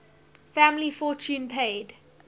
family fortune paid